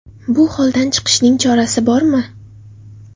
Bu holdan chiqishning chorasi bormi?